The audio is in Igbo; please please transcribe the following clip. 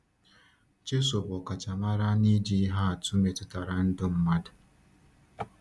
Jésù bụ ọkachamara n’iji ihe atụ metụtara ndụ mmadụ.